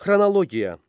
Xronologiya.